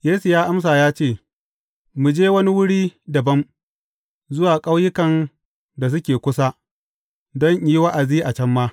Yesu ya amsa ya ce, Mu je wani wuri dabam, zuwa ƙauyukan da suke kusa, don in yi wa’azi a can ma.